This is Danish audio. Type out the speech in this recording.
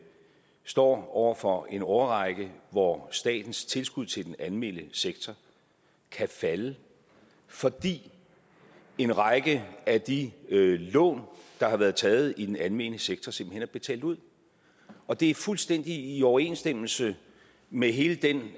står over for en årrække hvor statens tilskud til den almene sektor kan falde fordi en række af de lån der er blevet taget i den almene sektor simpelt hen er betalt ud og det er fuldstændig i overensstemmelse med hele den